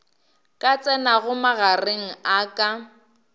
ka tsenago magareng a ka